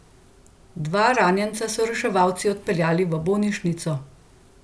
Dva ranjenca so reševalci odpeljali v bolnišnico.